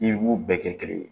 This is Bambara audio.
I b'u bɛɛ kɛ kelen ye